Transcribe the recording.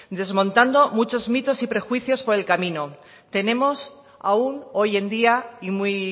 desmontando muchos mitos y prejuicios por el camino tenemos aún hoy en día y muy